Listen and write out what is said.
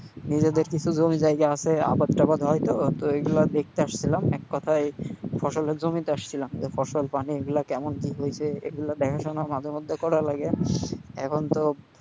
নিজেদের কিছু জমি জায়গা আছে আবাদ টাবাদ হয় তো, তো এগুলো দেখতে আসছিলাম এক কথায় ফসলের জমিতে আসছিলাম যে ফসল পানিগুলা কেমন কি হয়েছে এগুলো দেখাশোনা মাঝে মধ্যে করা লাগে। এখন তো,